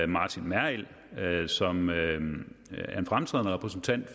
martin merrild merrild som er en fremtrædende repræsentant